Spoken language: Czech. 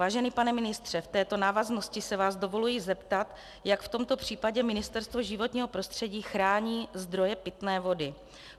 Vážený pane ministře, v této návaznosti se vás dovoluji zeptat, jak v tomto případě Ministerstvo životního prostředí chrání zdroje pitné vody.